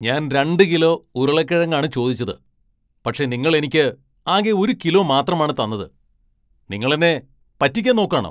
ഞാൻ രണ്ട് കിലോ ഉരുളക്കിഴങ്ങാണ് ചോദിച്ചത്, പക്ഷേ നിങ്ങൾ എനിക്ക് ആകെ ഒരു കിലോ മാത്രമാണ് തന്നത്! നിങ്ങൾ എന്നെ പറ്റിയ്ക്കാൻ നോക്കാണോ ?